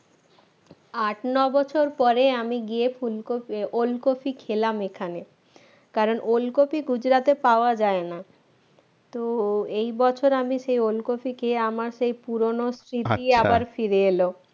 আঁট ন বছর পরে আমি গিয়ে ফুলকপি ওলকপি খেলাম এখানে কারণ ওলকপি গুজরাটে পাওয়া যায় না তো এই বছর আমি সে ওলকপি খেয়ে আমার সেই পুরনো স্মৃতি আবার ফিরে এলো